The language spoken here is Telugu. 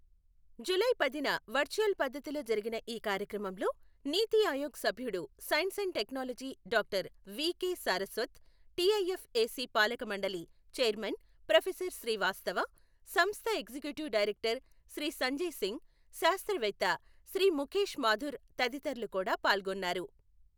జులై పదిన వర్చువల్ పద్ధతిలో జరిగిన ఈ కార్యక్రమంలో నీతి ఆయోగ్ సభ్యుడు science and technology doctor doctor V K Saraswat, TIFAC పాలకమండలి చైర్మన్ ప్రొఫెసర్ శ్రీవాస్తవ, సంస్థ ఎగ్జిక్యుటివ్ డైరెక్టర్ శ్రీ సంజయ్ సింగ్, శాస్త్రవేత్త శ్రీ ముఖేశ్ మాథుర్ తదితరులు కూడా పాల్గొన్నారు.